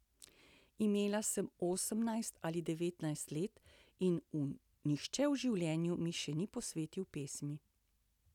Imela sem osemnajst ali devetnajst let in nihče v življenju mi še ni posvetil pesmi.